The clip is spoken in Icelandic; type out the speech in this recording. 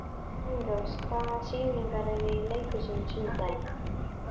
Steinrós, hvaða sýningar eru í leikhúsinu á sunnudaginn?